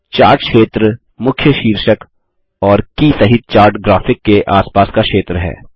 chart क्षेत्र मुख्य शीर्षक और की सहित चार्ट ग्राफिक के आस पास का क्षेत्र है